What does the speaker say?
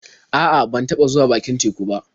A'a, ban taɓa zuwa bakin teku ba.